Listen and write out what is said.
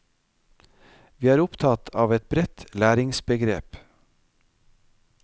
Vi er opptatt av et bredt læringsbegrep.